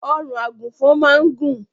Ọrùn àgùnfọn máa ń gùn.